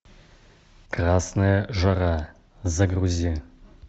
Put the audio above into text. красная жара загрузи